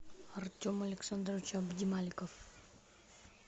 артем александрович абдималиков